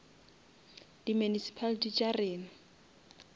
di municipality tša rena